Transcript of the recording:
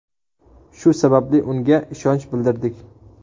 Shu sababli unga ishonch bildirdik.